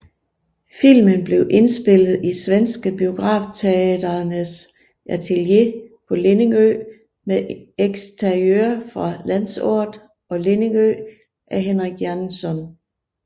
Filmen blev indspillet i Svenske Biografteaterns atelier på Lidingö med eksteriører fra Landsort og Lidingö af Henrik Jaenzon